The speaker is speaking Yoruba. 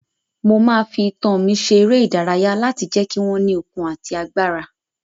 Mo máa fi itan mi ṣe eré ìdárayá láti lè jẹ́ kí wọ́n ní okun àti agbára